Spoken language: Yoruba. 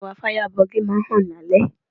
Ẹwà Fáyábọọ̀gì máa ń hàn lálẹ́.